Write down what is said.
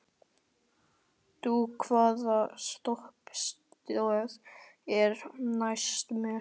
Dúa, hvaða stoppistöð er næst mér?